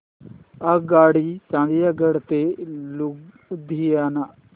आगगाडी चंदिगड ते लुधियाना